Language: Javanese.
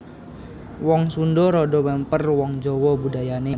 Wong Sundha rada mèmper wong Jawa budayané